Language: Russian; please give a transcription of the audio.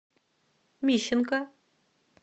мищенко